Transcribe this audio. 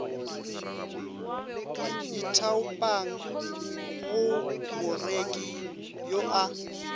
ithaopang go moreki yo a